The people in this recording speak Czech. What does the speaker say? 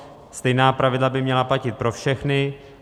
Stejná pravidla by měla platit pro všechny.